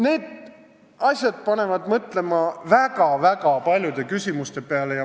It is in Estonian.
Need asjad panevad mõtlema väga-väga paljude küsimuste peale.